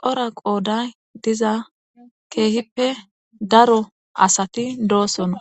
cora qooday diza keehippe daro asati doosona.